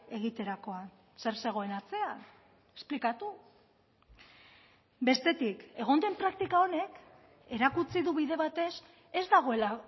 egiterakoan zer zegoen atzean esplikatu bestetik egon den praktika honek erakutsi du bide batez ez dagoela